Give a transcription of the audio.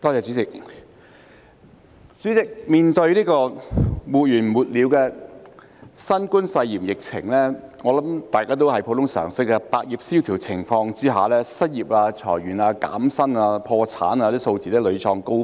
代理主席，面對沒完沒了的新冠肺炎疫情，我想大家根據普通常識也知道，在百業蕭條的情況下，失業、裁員、減薪和破產等數字必然屢創高峰。